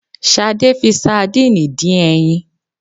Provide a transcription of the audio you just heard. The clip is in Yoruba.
Sadẹ́ fi sadiini dín ẹyin